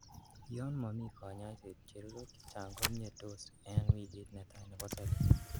Yon momi konyoiset, chererok chechang' komietos en wikit netai nebo sobet.